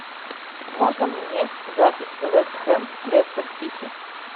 можно мне запись вест хэм с лестер сити